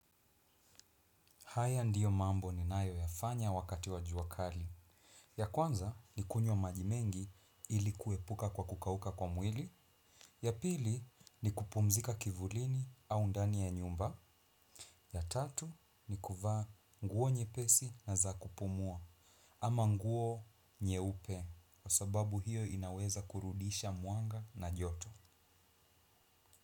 Haya ndiyo mambo ninayoyafanya wakati wa jua kali. Ya kwanza ni kunywa maji mengi ilikuepuka kwa kukauka kwa mwili. Ya pili ni kupumzika kivulini au ndani ya nyumba. Ya tatu ni kuvaa nguo nyepesi na za kupumua. Ama nguo nyeupe, kwa sababu hiyo inaweza kurudisha mwanga na joto.